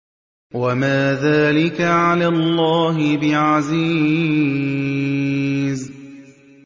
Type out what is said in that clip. وَمَا ذَٰلِكَ عَلَى اللَّهِ بِعَزِيزٍ